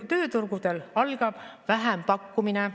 Tööturgudel algab vähempakkumine.